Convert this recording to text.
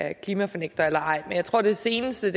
er klimafornægter eller ej men jeg tror at det seneste